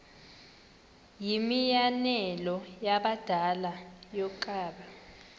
yimianelo yabadala yokaba